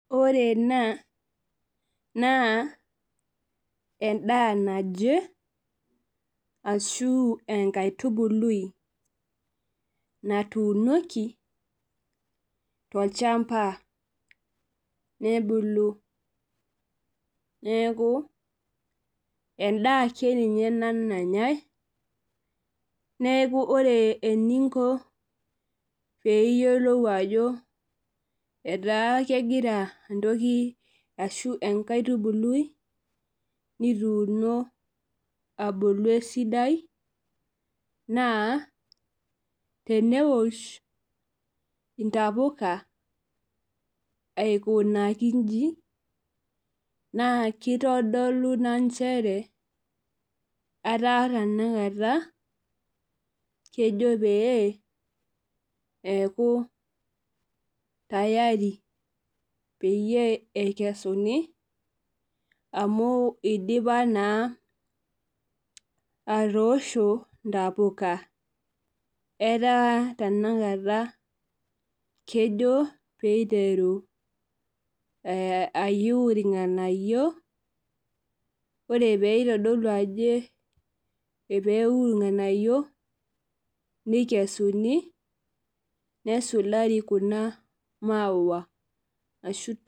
Ore ena naa endaa naje ashu enkaitubului naatuunoki tolchampa nebulu. Neeku endaa ake ninye ena nanyae neeku ore eninko pee iyiolou ajo etaa kegira entoki ashu enkaitubului nituuno esidai naa teneosh intapuka aikunaki inji naa kitodolu ina nchere etaa tenakata etaa kejo peyie eku tayari peyie eikesuni amu eidipa naa atoosho ntapuka. Etaa tenakata kejo peyie eiteru ayiu irnganayio ,ore pee eitu irnganayio nikesuni nesulari kuna mauwa.